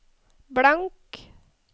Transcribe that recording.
blank